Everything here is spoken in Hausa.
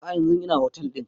A'a yanzun ina otel ɗin